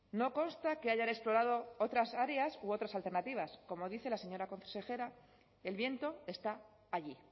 no consta que hayan explorado otras áreas u otras alternativas como dice la señora consejera el viento está allí